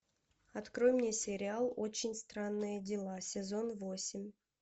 открой мне сериал очень странные дела сезон восемь